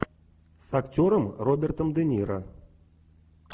с актером робертом де ниро